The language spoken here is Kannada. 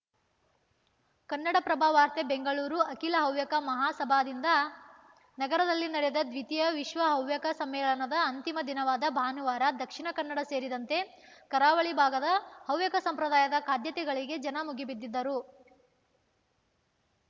ಕನ್ನಡಪ್ರಭ ವಾರ್ತೆ ಬೆಂಗಳೂರು ಅಖಿಲ ಹವ್ಯಕ ಮಹಾಸಭಾದಿಂದ ನಗರದಲ್ಲಿ ನಡೆದ ದ್ವಿತೀಯ ವಿಶ್ವ ಹವ್ಯಕ ಸಮ್ಮೇಳನದ ಅಂತಿಮ ದಿನವಾದ ಭಾನುವಾರ ದಕ್ಷಿಣ ಕನ್ನಡ ಸೇರಿದಂತೆ ಕರಾವಳಿ ಭಾಗದ ಹವ್ಯಕ ಸಂಪ್ರಾದಾಯದ ಖಾದ್ಯತೆಗಳಿಗೆ ಜನ ಮುಗಿಬಿದ್ದಿದ್ದರು